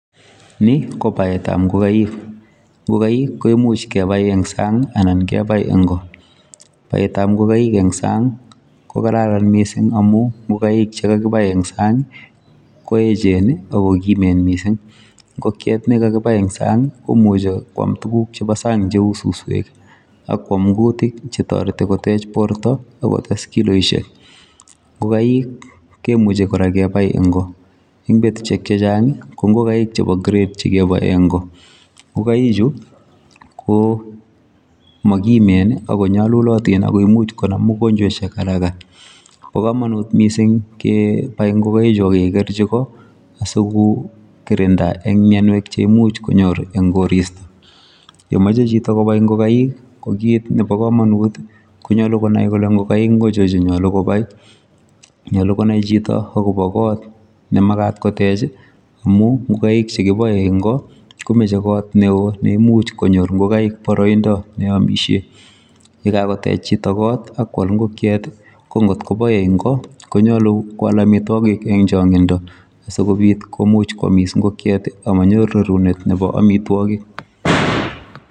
Ni ko baet ab ingongaik ingongaik koimuuch kebae en saang ii anan kebai en Koo ,baet ab ingongaik en saang kobaa kamanuut Missing amuun ingongaik che kakibae en saang ii ko eecheen ii ako kimeen missing ingogiet nekakibai en saang ii komuchei kwaam tuguuk chebo saang che uu susweek ak kwaam kutiik che taretii koteech borto akoot kotes kiloisiek ingongaik kemuchei kora kebai en Koo, eng betusiek che chaang ii ko ingongaik che [grade] kebae en ko ingongaik chuu ko makimeen ako nyalulatiin ako imuuch konam mianwagik en haraka, bo kamanut missing kebai ingongaik chuuk ak ke kerchiin Koo asiko kirindaa en mianweek che imuuch konyoor en koristoi, ye machei chitoo kobai ingongaik ii ko kit nebo kamanut konyaluu ko konai kole ingongaik achoon che yachei kobai , nyaluu konai chitoo agobo koot ne makaat koteech ii amuun ingongaik che kibae en Koo komachei koot ne oo , neimuuch konyoor ingoigaik baraindaa neimuuch koyamisheen ,ye kagoteech chitoo koot ak koyaal ingokekiet ii ,ko ngoot koboe en Koo konyaluu koyaal amitwagiik en changindoo sikobiit koyamis ingogiet amanyiruu rarunet nebo amitwagiik.